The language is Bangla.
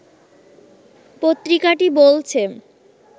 পত্রিকাটি বলছে